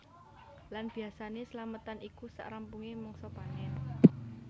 Lan biasané slametan iku sak rampungé mangsa panen